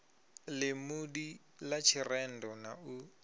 ḽimudi ḽa tshirendo na u